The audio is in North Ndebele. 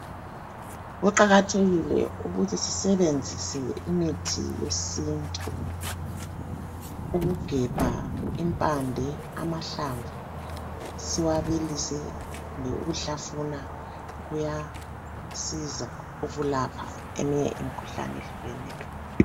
Kuqakathekile ukuthi sisebenzise imithi yesintu, ukugebha impande amahlamvu siwabilise kumbe ukuhlafuna kuyasiza ukulapha eminye imikhuhlane ehlukeneyo